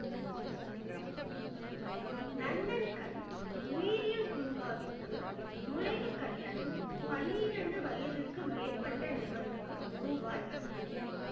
நந்தன்கண் உயிரியல் பூங்காவிற்கு நுழைவு கட்டணம் பன்னிரண்டு வயதுக்கு மேற்பட்ட நபருக்கு ரூபாய் ஐம்பது